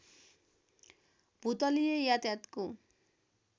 भूतलीय यातायातको